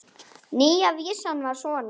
Nýja vísan var svona